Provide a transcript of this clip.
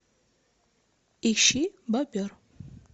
ищи бобер